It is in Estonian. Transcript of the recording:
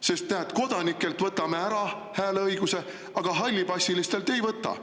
Sest me kodanikelt võtame hääleõiguse ära, aga hallipassilistelt ei võta.